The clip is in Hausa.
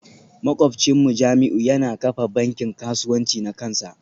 Makwabcinmu Jamiu yana kafa bankin kasuwanci na kansa